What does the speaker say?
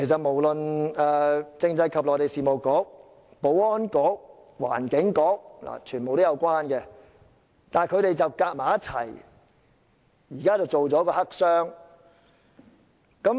無論政制及內地事務局、保安局和環境局，全都與此有關，但他們卻聯手製作一個黑箱。